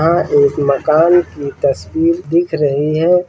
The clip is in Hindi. हां एक मकान की तस्वीर दिख रही है।